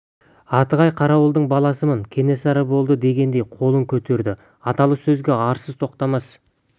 атығай қарауылдың баласымын кенесары болды дегендей қолын көтерді аталы сөзге арсыз тоқтамас бағанадан бері үндемей тұрған